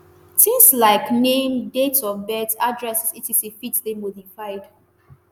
tins like name dates of birth addresses etc. fit dey modified.